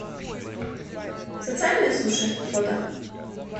социальные суши фото